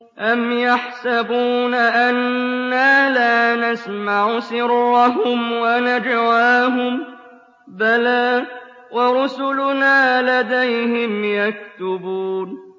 أَمْ يَحْسَبُونَ أَنَّا لَا نَسْمَعُ سِرَّهُمْ وَنَجْوَاهُم ۚ بَلَىٰ وَرُسُلُنَا لَدَيْهِمْ يَكْتُبُونَ